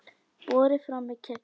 Borið fram með kexi.